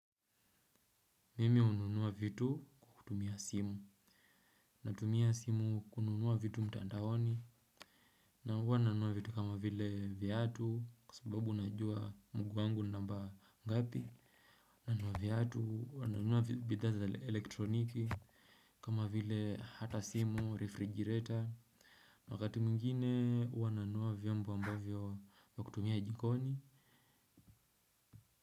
Mimi hununuwa vitu kukutumia simu. Natumia simu kununua vitu mtandaoni. Na huwa nanunua vitu kama vile viatu kwa sababu najua mguu wangu namba ngapi. Nanunua viatu nanunua bidhaa za elektroniki. Kama vile hata simu refrigerator wakati mwingine huwa nanunua vyombo ambavyo vya kutumia jikoni.